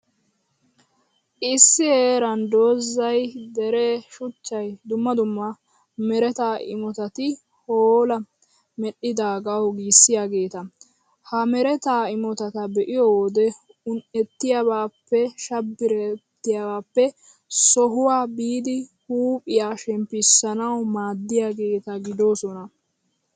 Issi heeran dozay, deree, shuchchay, dumma dumma mereta imotati, hoola! Medhdhidaagawu giissiyaageeta. Ha mereta imotata be'iyo wode un''ettiyaabaappe, shabbiriyaabaappe sohuwa biidi huuphiyaa shemppissanawu maaddiyaageeta gidoosona.